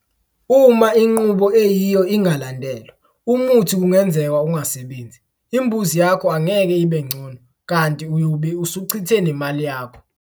Uma inqubo eyiyo ingalandelwa, umuthi kungenzeka ungasebenzi, imbuzi yakho angeke ibe ngcono kanti uyobe usuchithe nemali yakho.